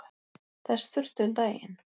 Þess þurfti um daginn.